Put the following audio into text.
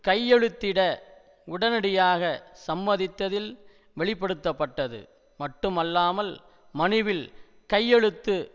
கையெழுத்திட உடனடியாக சம்மதித்தததில் வெளிப்படுத்த பட்டது மட்டுமல்லாமல் மனுவில் கையெழுத்து